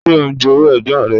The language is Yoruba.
Ṣé ó ń jowú ẹ̀gbọ́n rẹ̀?